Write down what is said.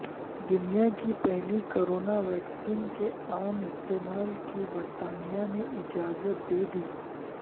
دنیا کی پہلی کورونا ویکسین کے عام استعمال کی برطانیہ نے اجازت دے دی